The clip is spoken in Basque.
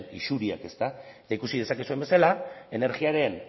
isuriak eta ikusi dezakezuen bezala energiaren